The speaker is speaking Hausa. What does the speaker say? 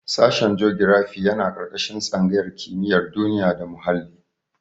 Sashen jogirafi yana ƙarƙashin tsangayar kimiyar duniya da muhalli.